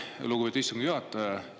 Aitäh, lugupeetud istungi juhataja!